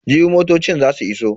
Jibi motocin za su iso.